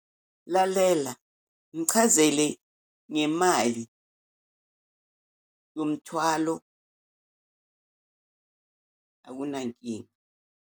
Lalela, mchazele ngemali yomthwalo, akunankinga.